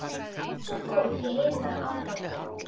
Sko, ég heyri það á þér